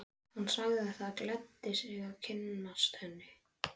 Hann sagði það gleddi sig að kynnast henni.